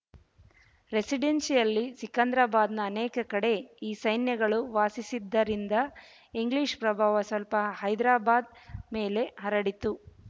ರೆಸಿಡೆನ್ಶಿಯಲ್ಲಿ ಸಿಕಿಂದ್ರಾಬಾದ್‍ನ ಅನೇಕ ಕಡೆ ಈ ಸೈನ್ಯಗಳು ವಾಸಿಸಿದ್ದರಿಂದ ಇಂಗ್ಲೀಷ್ ಪ್ರಭಾವ ಸ್ವಲ್ಪ ಹೈದರಾಬಾದ್ ಮೇಲೆ ಹರಡಿತು